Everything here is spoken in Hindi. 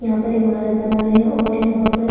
यहाँ पर ईमारत बना रहे है और यहाँ पर --